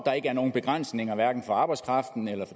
er ikke nogen begrænsninger hverken på arbejdskraft